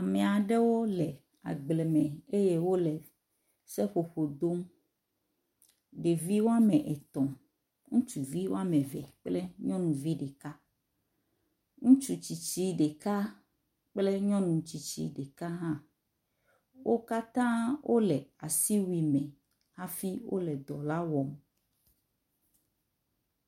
Ame aɖewo le agble me eye wo le seƒoƒo dom. Ɖevi wɔme etɔ̃ ŋutsuvi wɔme eve kple nyɔnu vi ɖeka. Ŋutsu tsiti ɖeka kple nyɔnu tsitsi ɖeka hã. Wo katã wo le asiwui me hafi wo le dɔ la wɔm.